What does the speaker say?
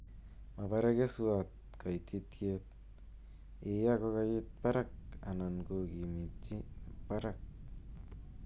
Mabare keswoot kaytityet, iya kokaytit miising anan kokikiminci barak